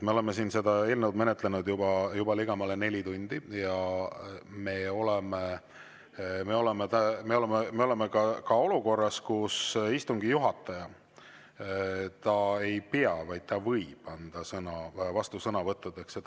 Me oleme seda eelnõu menetlenud juba ligemale neli tundi ja me oleme olukorras, kus istungi juhataja ei pea andma, vaid ta võib anda sõna vastusõnavõttudeks.